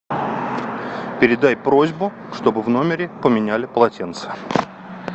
передай просьбу чтобы в номере поменяли полотенца